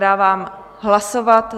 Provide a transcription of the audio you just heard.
Dávám hlasovat.